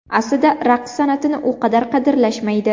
Aslida raqs san’atini u qadar qadrlashmaydi.